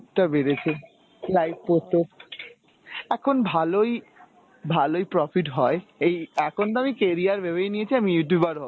টা বেড়েছে, like পরতো। এখন ভালোই ভালোই profit হয়, এই এখন তো আমি career ভেবেই নিয়েছি আমি Youtuber হবো।